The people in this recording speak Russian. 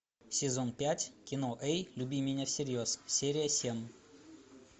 сезон пять кино эй люби меня всерьез серия семь